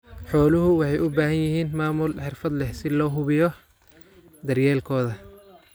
Xooluhu waxay u baahan yihiin maamul xirfad leh si loo hubiyo daryeelkooda.